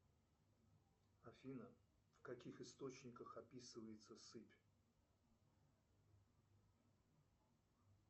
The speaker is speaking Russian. афина в каких источниках описывается сыпь